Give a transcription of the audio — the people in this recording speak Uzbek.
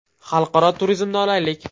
Xalqaro turizmni olaylik.